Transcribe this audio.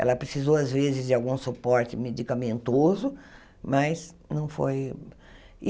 Ela precisou, às vezes, de algum suporte medicamentoso, mas não foi.